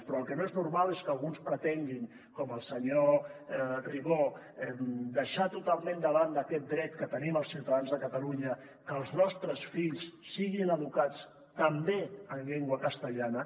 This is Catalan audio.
però el que no és normal és que alguns pretenguin com el senyor ribó deixar totalment de banda aquest dret que tenim els ciutadans de catalunya que els nostres fills siguin educats també en llengua castellana